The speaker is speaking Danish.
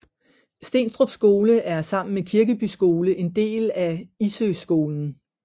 Stenstrup Skole er sammen med Kirkeby Skole en del af Issøskolen